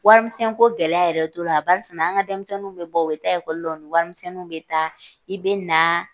Warimisɛn ko gɛlɛya yɛrɛ tora barisina an ka denmisɛnninw bɛ bɔ, u bɛ taa lɔ, u ni warimisɛnninw bɛ taa, i be naa